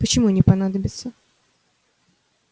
почему не понадобится